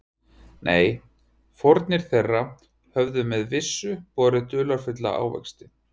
Nei, fórnir þeirra höfðu með vissu borið dularfulla ávexti.